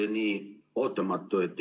See oli nii ootamatu.